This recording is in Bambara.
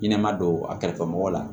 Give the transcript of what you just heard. I ɲɛnɛma don a kɛrɛfɛ mɔgɔ la